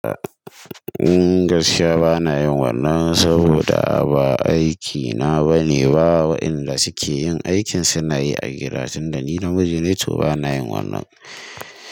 Gaskiya bana yin wannan saboda ba aikina bane. Wa wa inda suke yin aikin suna yi a gida tunda ni na miji ne to bana yin wannan.